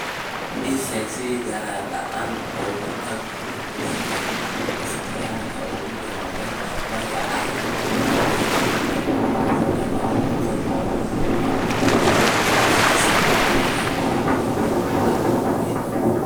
ii sheeg sida aan diyaarad la'aan ugu tago oo leh ikhtiyaarka ugu jaban marka aysan macno lahayn in aan haysto laba boqol oo maalmood oo waqti safar ah iyo kaliya doolar aan ku bixiyo